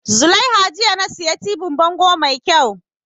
Zulaiha jiya na siya tibin bango mai kyau